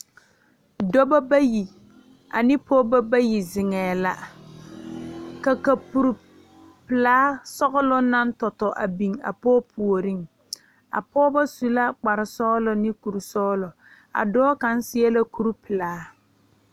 Dɔba bayi ane pɔgeba bayi zeŋɛɛ la ka kapuripelaa sɔgloŋ naŋ tɔ tɔ a biŋ a pɔge puoriŋ a pɔgeba su la kparesɔglɔ ne kurisɔglɔ a dɔɔ kaŋ seɛ la kuripelaa.